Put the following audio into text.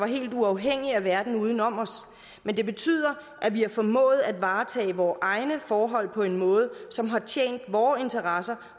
helt uafhængig verden uden om os men det betyder at vi har formået at varetage vore egne forhold på en måde som har tjent vore interesser